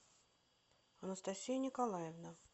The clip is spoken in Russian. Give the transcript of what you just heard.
анастасия николаевна